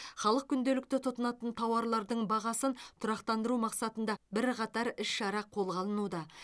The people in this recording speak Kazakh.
халық күнделікті тұтынатын тауарлардың бағасын тұрақтандыру мақсатында бірқатар іс шара қолға алынуда